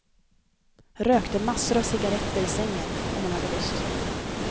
Rökte massor av cigaretter i sängen om hon hade lust.